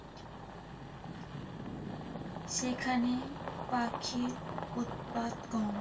সেখানে পাখির উৎপাত কম।